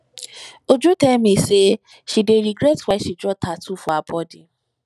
uju tell me say she dey regret why she draw tattoo for her body